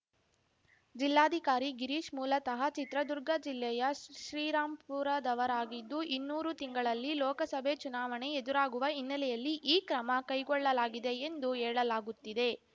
ಜಿಲ್ಲಾಧಿಕಾರಿ ಗಿರೀಶ್‌ ಮೂಲತಹ ಚಿತ್ರದುರ್ಗ ಜಿಲ್ಲೆಯ ಶ್ ಶ್ರೀರಾಂಪುರದವರಾಗಿದ್ದು ಇನ್ನಾರು ತಿಂಗಳಲ್ಲಿ ಲೋಕಸಭೆ ಚುನಾವಣೆ ಎದುರಾಗುವ ಹಿನ್ನೆಲೆಯಲ್ಲಿ ಈ ಕ್ರಮ ಕೈಗೊಳ್ಳಲಾಗಿದೆ ಎಂದು ಹೇಳಲಾಗುತ್ತಿದೆ